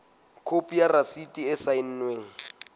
khopi ya rasiti e saennweng